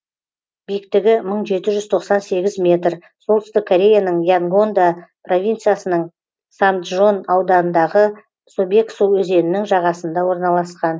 биіктігі мың жеті жүз тоқсан сегіз метр солтүстік кореяның янгондо провинциясының самджон ауданындағы собексу өзенінің жағасында орналасқан